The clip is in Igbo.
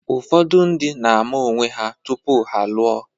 Ụfọdụ ndị na-ama onwe ha tupu ha alụọ.